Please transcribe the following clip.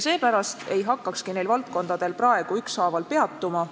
Seepärast ma ei hakkagi nendel valdkondadel praegu ükshaaval peatuma.